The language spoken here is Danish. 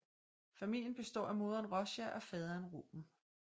Familien består af moderen Rosha og faderen Ruben